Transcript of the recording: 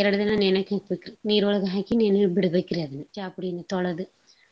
ಎರ್ಡ್ ದಿನ ನೆನೆಕ್ ಹಾಕ್ಬಕ್ರಿ ನೀರೊಳಗ ಹಾಕಿ ನೆನೆ ಬಿಡ್ಬೇಕ್ರಿ ಅದ್ನ ಚಾಪುಡೀನ ತೊಳದು.‌